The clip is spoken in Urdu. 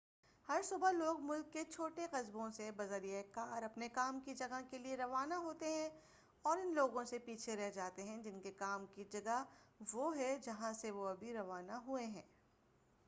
ہر صبح لوگ ملک کے چھوٹے قصبوں سے بذریعہ کار اپنے کام کی جگہ کے لئے روانہ ہوتے ہیں اور ان لوگوں سے پیچھے رہ جاتے ہیں جن کے کام کی جگہ وہ ہے جہاں سے وہ ابھی روانہ ہوئے ہیں